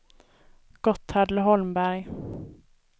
Gotthard Holmberg